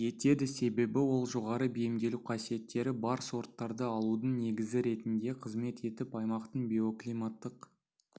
етеді себебі ол жоғары бейімделу қасиеттері бар сорттарды алудың негізі ретінде қызмет етіп аймақтың биоклиматтық